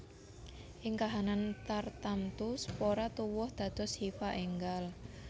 Ing kahanan tartamtu spora tuwuh dados hifa énggal